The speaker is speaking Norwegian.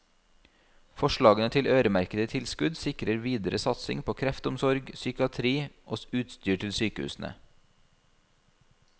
Forslagene til øremerkede tilskudd sikrer videre satsing på kreftomsorg, psykiatri og utstyr til sykehusene.